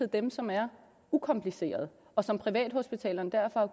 dem som er ukomplicerede og som privathospitalerne derfor har